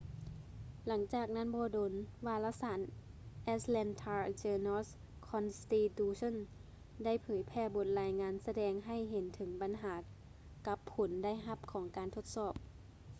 ຫຼັງຈາກນັ້ນບໍ່ດົນ ວາລະສານ ແອັດແລນທາ ເຈີນອລ໌-ຄອນສະຕີຕູເຊີ່ນ atlanta journal-constitution ໄດ້ເຜີຍແຜ່ບົດລາຍງານ ສະແດງໃຫ້ເຫັນເຖິງບັນຫາກັບຜົນໄດ້ຮັບຂອງການທົດສອບ